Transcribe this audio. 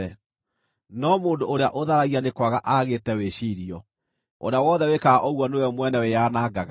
No mũndũ ũrĩa ũtharagia nĩagĩte wĩciirio; ũrĩa wothe wĩkaga ũguo nĩwe mwene wĩyanangaga.